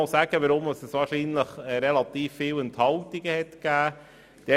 Weshalb hat es so viele Enthaltungen gegeben?